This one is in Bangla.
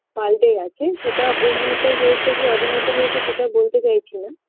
পাল্টে গেছে সেটা উন্নত হয়েছে কী অবনত হয়েছে সেটা বলতে চাইছিনা